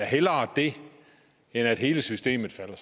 hellere det end at hele systemet falder